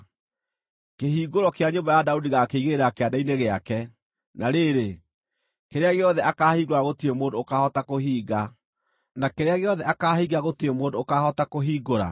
Kĩhingũro kĩa nyũmba ya Daudi ngaakĩigĩrĩra kĩande-inĩ gĩake; na rĩrĩ, kĩrĩa gĩothe akaahingũra gũtirĩ mũndũ ũkaahota kũhinga, na kĩrĩa gĩothe akaahinga gũtirĩ mũndũ ũkaahota kũhingũra.